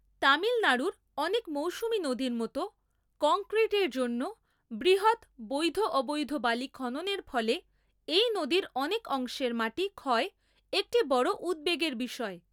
তামিলনাড়ুর অনেক মৌসুমী নদীর মতো, কংক্রিটের জন্য বৃহৎ বৈধ/অবৈধ বালি খননের ফলে এই নদীর অনেক অংশের মাটি ক্ষয় একটি বড় উদ্বেগের বিষয়।